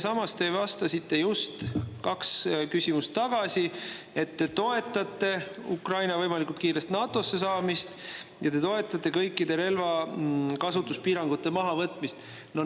" Samas te vastasite just kaks küsimust tagasi, et te toetate Ukraina võimalikult kiiresti NATO‑sse saamist ja te toetate kõikide relvakasutuspiirangute mahavõtmist.